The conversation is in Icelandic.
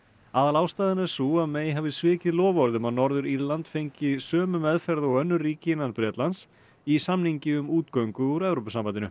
aðalástæðan er sú að May hafi svikið loforð um að Norður Írland fengi sömu meðferð og önnur ríki innan Bretlands í samningi um útgöngu úr Evrópusambandinu